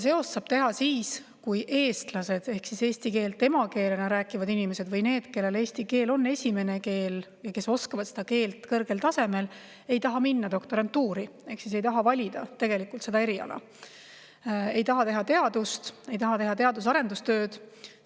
Seose saab teha siis, kui eestlased ehk eesti keelt emakeelena rääkivad inimesed, need, kellel eesti keel on esimene keel ja kes oskavad seda keelt kõrgel tasemel, ei taha minna doktorantuuri ehk ei taha valida eriala, ei taha teha teadust, ei taha teha teadus- ja arendustööd.